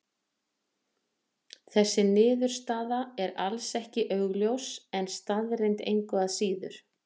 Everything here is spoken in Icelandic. Þessi niðurstaða er alls ekki augljós en staðreynd engu að síður.